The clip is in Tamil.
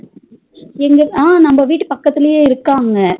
எங்க அஹ் நம்ம வீட்டு பக்கதுலையே இருக்காங்க